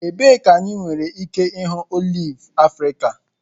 Ebee ka anyị nwere ike ịhụ oliv Afrika?